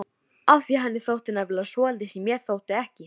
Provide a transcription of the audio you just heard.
Daðína stóð á fætur og hvessti augun á Jón.